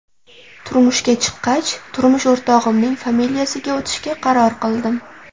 Turmushga chiqqach, turmush o‘rtog‘imning familiyasiga o‘tishga qaror qildim.